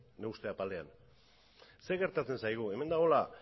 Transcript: nire uste apalean zer gertatzen zaigu hemen dagoela